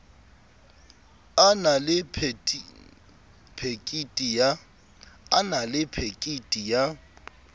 a na le phekiti ya